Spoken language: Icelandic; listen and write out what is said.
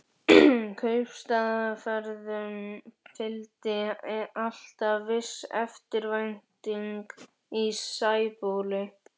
Kaupstaðarferðum fylgdi alltaf viss eftirvænting í Sæbóli.